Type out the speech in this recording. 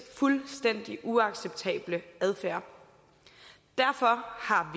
fuldstændig uacceptable adfærd derfor har